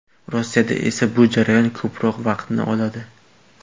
Rossiyada esa bu jarayon ko‘proq vaqtni oladi.